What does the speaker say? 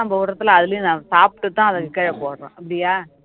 நம்ம விடுறது இல்லை அதுலயும் நான் சாப்பிட்டுதான் அதுக்கு கீழே போடுறோம் அப்படியா